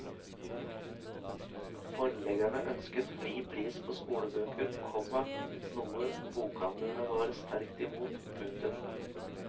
Forleggerne ønsket fri pris på skolebøker, komma noe bokhandlerne var sterkt imot. punktum